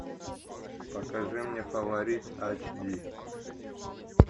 покажи мне фаворит ач ди